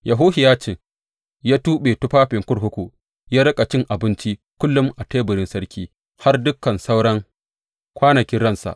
Yehohiyacin ya tuɓe tufafin kurkuku, ya riƙa cin abinci kullum a teburin sarki, har dukan sauran kwanakin ransa.